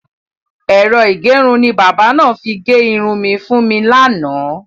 Ẹ̀rọ ìgẹrun ni bábà náà fi gẹ irun fún mi lánàá.